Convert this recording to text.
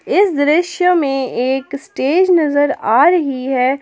इस दृश्य में एक स्टेज नजर आ रही है।